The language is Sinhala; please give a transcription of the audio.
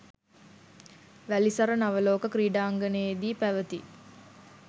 වැලිසර නවලෝක ක්‍රීඩාංගණයේදී පැවති